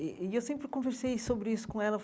E e eu sempre conversei sobre isso com ela.